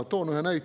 Toon ühe näite.